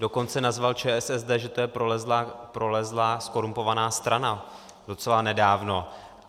Dokonce nazval ČSSD, že je to prolezlá zkorumpovaná strana, docela nedávno.